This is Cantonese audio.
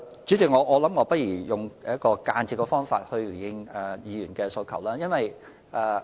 主席，我不如用一種間接的方法來回應議員的問題。